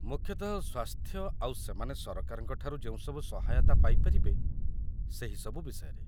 ମୁଖ୍ୟତଃ ସ୍ୱାସ୍ଥ୍ୟ ଆଉ ସେମାନେ ସରକାରଙ୍କ ଠାରୁ ଯେଉଁ ସବୁ ସହାୟତା ପାଇପାରିବେ ସେହିସବୁ ବିଷୟରେ ।